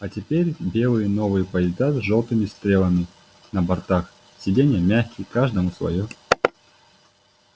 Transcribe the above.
а теперь белые новые поезда с жёлтыми стрелами на бортах сиденья мягкие каждому своё